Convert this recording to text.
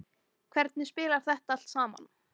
Hvernig spilar þetta allt saman?